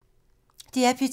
DR P2